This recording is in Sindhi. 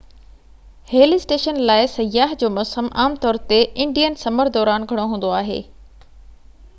هل اسٽيشن لاءِ سياح جو موسم عام طور تي انڊين سمر دوران گهڻو هوندو آهي